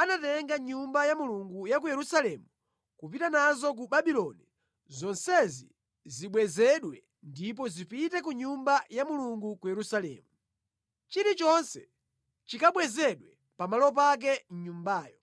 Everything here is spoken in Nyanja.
anatenga mʼNyumba ya Mulungu ku Yerusalemu kupita nazo ku Babuloni, zonsezi zibwezedwe ndipo zipite ku Nyumba ya Mulungu ku Yerusalemu. Chilichonse chikabwezedwe pamalo pake mʼNyumbayo.